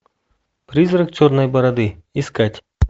призрак черной бороды искать